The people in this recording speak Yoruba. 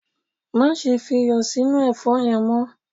Máse fi iyò sí inú èfó yen mo